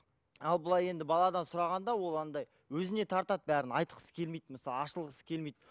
ал былай енді баладан сұрағанда ол андай өзіне тартады бәрін айтқысы келмейді мысалы ашылғысы келмейді